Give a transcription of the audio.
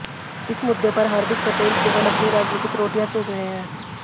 इस मुद्दे पर हार्दिक पटेल केवल अपनी राजनीतिक रोटियां सेक रहे हैं